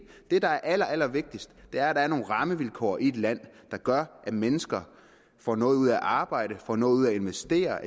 det der er allerallervigtigst er at der er nogle rammevilkår i et land der gør at mennesker får noget ud af at arbejde får noget ud af at investere